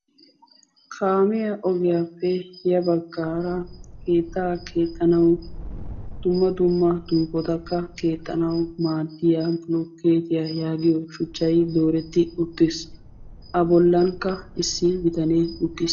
kaamiya ogiyappe ya baggaara keettaa keexxanawu dumma dumma duufotakka keexxanawu maaddiya blokketiya yaagiyo shuchchay dooretti uttis. a bollankka issi bitane uttis.